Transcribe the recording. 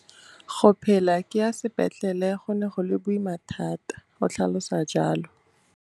Go phela ke ya sepetlele go ne go le boima thata, o tlhalosa jalo.